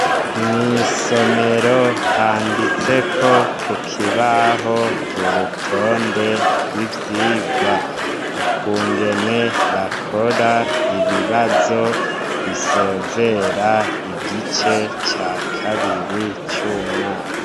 Mw'isomero handitseko ku kibaho urutonde rw' ivyirwa .Ukungene bakora ibibazo bisozera igice ca kabiri c' umwaka.